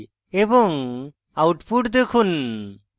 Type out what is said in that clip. এবং output দেখুন